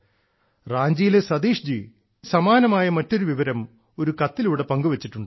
റാഞ്ചിയിലെ ശ്രീ സതീഷ് എനിക്ക് സമാനമായ മറ്റൊരു വിവരം ഒരു കത്തിലൂടെ പങ്കുവെച്ചിട്ടുണ്ട്